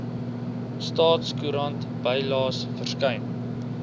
staatskoerant bylaes verskyn